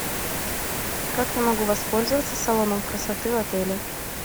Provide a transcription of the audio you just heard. как я могу воспользоваться салоном красоты в отеле